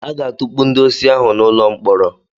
Aga-atukpu ndị osi ahụ n'ụlọ mkpọrọ.